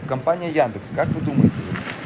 компания яндекс как вы думаете вот